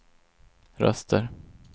röster